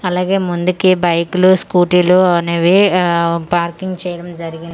అలాగే ముందుకి బైక్ లు స్కూటీలు అనేవి ఆ పార్కింగ్ చేయడం జరిగి--